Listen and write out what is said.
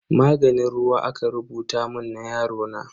Maganin ruwa aka rubuta mun na yarona.